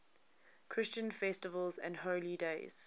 christian festivals and holy days